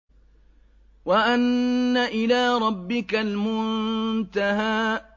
وَأَنَّ إِلَىٰ رَبِّكَ الْمُنتَهَىٰ